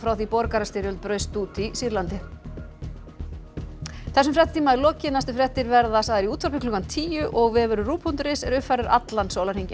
því borgarastyrjöld braust út í Sýrlandi þessum fréttatíma er lokið næstu fréttir verða sagðar í útvarpi klukkan tíu og vefurinn ruv punktur is er uppfærður allan sólarhringinn